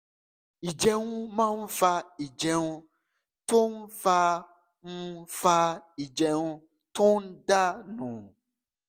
ìjẹun máa ń fa ìjẹun tó ń fa ń fa ìjẹun tó ń dà nù